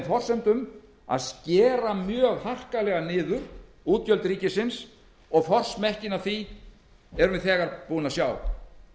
forsendum að skera mjög harkalega niður útgjöld ríkisins og forsmekkinn af því erum við þegar búin að sjá